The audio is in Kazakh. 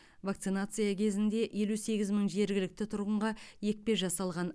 вакцинация кезінде елу сегіз мың жергілікті тұрғынға екпе жасалған